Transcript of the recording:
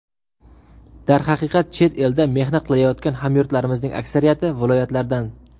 Darhaqiqat, chet elda mehnat qilayotgan hamyurtlarimizning aksariyati viloyatlardan.